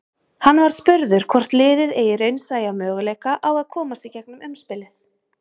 Hann var spurður hvort liðið eigi raunsæja möguleika á að komast í gegnum umspilið?